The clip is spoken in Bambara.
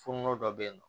Fonɔnɔ dɔ bɛ yen nɔ